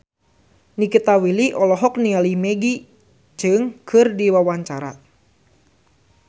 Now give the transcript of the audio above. Nikita Willy olohok ningali Maggie Cheung keur diwawancara